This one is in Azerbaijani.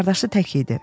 Qardaşı tək idi.